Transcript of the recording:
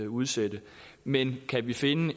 udsætte men kan vi finde